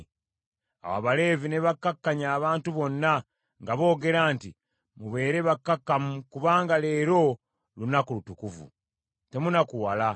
Awo Abaleevi ne bakkakkanya abantu bonna, nga boogera nti, “Mubeere bakkakkamu kubanga leero lunaku lutukuvu. Temunakuwala.”